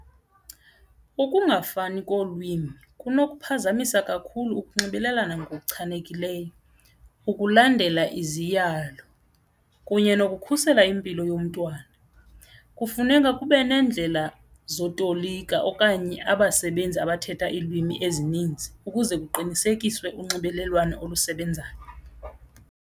Ukungafani kolwimi kunokuphazamisa kakhulu ukunxibelelana ngokuchanekileyo, ukulandela izeziya ngalo kunye nokukhusela impilo yomntwana. Kufuneka kube nendlela zokutolika okanye abasebenzi abathetha iilwimi ezininzi ukuze kuqinisekiswe unxibelelwano olusebenzayo.